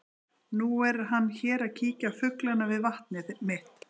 Og nú er hann hér að kíkja á fuglana við vatnið mitt.